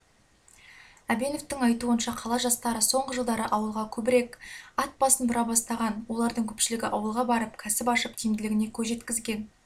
әбеновтің айтуынша қала жастары соңғы жылдары ауылға көбірек ат басын бұра бастаған олардың көпшілігі ауылға барып кәсіп ашып тиімділігіне көз жеткізген